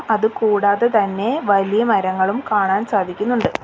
അത് കൂടാതെ തന്നെ വലിയ മരങ്ങളും കാണാൻ സാധിക്കുന്നുണ്ട്.